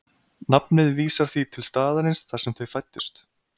nafnið vísar því til staðarins þar sem þau fæddust